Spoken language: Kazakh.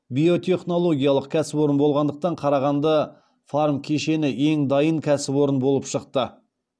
биотехнологиялық кәсіпорын болғандықтан қарағанды фармкешені ең дайын кәсіпорын болып шықты